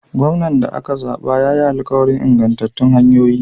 Gwamnan da aka zaɓa ya yi alkawarin ingantattun hanyoyi.